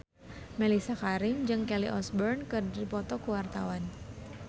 Mellisa Karim jeung Kelly Osbourne keur dipoto ku wartawan